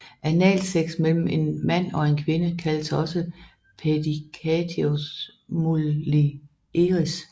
Analsex mellem en mand og en kvinde kaldes også paedicatio mulieris